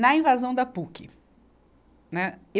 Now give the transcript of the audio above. Na invasão da Puc. Né